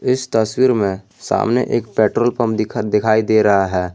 इस तस्वीर में सामने एक पेट्रोल पंप दिखा दिखाई दे रहा है।